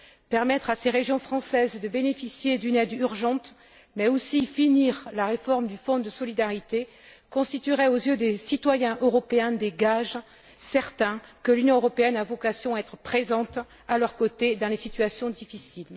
Permettre à ces régions françaises de bénéficier d'une aide urgente, mais aussi achever la réforme du Fonds de solidarité constituerait aux yeux des citoyens européens des gages certains que l'Union européenne a vocation à être présente à leurs côtés dans les situations difficiles.